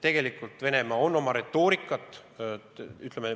Tegelikult Venemaa on oma retoorikat tugevdanud.